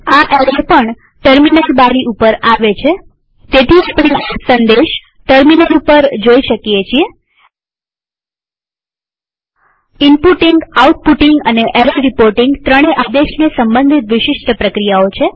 આ એરર પણ ટેર્મીનલ બારી ઉપર આવે છેતેથી આપણે આ સંદેશ ટેર્મીનલ ઉપર જોઈ શકીએ છીએ આ ઈનપુટીંગઆઉટપુટીંગ અને એરર રીપોર્ટીંગ ત્રણેય આદેશને સંબંધિત વિશિષ્ટ પ્રક્રિયાઓ છે